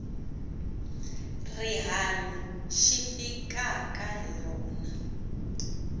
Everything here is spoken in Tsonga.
rihanyu xi fikaka hi rona